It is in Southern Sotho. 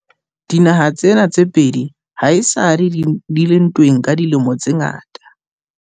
Dinaha tsena tse pedi ha esale di le ntweng ka dilemo tse ngata.